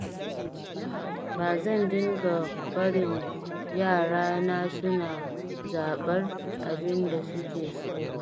Ba zan dinga barin yarana suna zaɓar abinda suke so ba.